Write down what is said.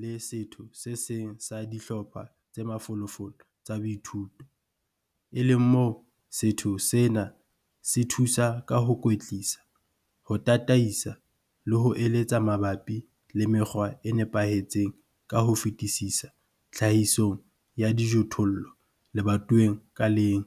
le setho se seng sa dihlopha tse mafolofolo tsa boithuto, e leng moo setho sena se thusa ka ho kwetlisa, ho tataisa le ho eletsa mabapi le mekgwa e nepahetseng ka ho fetisisa tlhahisong ya dijothollo lebatoweng ka leng.